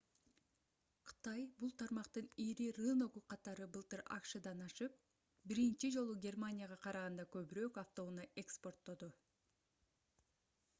кытай бул тармактын ири рыногу катары былтыр акшдан ашып биринчи жолу германияга караганда көбүрөөк автоунаа экспорттоду